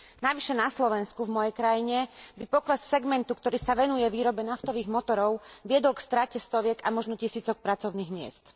Navyše na Slovensku, v mojej krajine, by pokles segmentu, ktorý sa venuje výrobe naftových motorov, viedol k strate stoviek a možno tisícok pracovných miest.